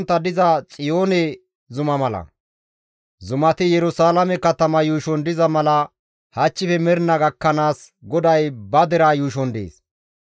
Zumati Yerusalaame katama yuushon diza mala hachchife mernaa gakkanaas GODAY ba deraa yuushon dees.